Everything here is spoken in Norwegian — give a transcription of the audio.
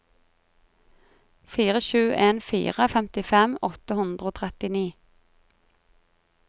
fire sju en fire femtifem åtte hundre og trettini